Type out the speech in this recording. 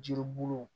Jiribulu